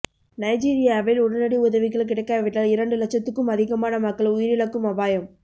நைஜீரியாவில் உடனடி உதவிகள் கிடைக்காவிட்டால் இரண்டு லட்சத்துக்கும் அதிகமான மக்கள் உயிரிழக்கும் அபாயம்